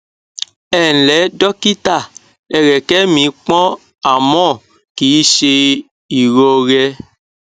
ẹǹlẹ dọkítà ẹrẹkẹ mi pọn àmọ kì í ṣe ìrọrẹ